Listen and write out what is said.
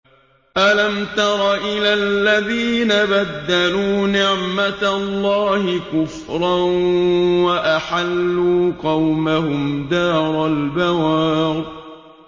۞ أَلَمْ تَرَ إِلَى الَّذِينَ بَدَّلُوا نِعْمَتَ اللَّهِ كُفْرًا وَأَحَلُّوا قَوْمَهُمْ دَارَ الْبَوَارِ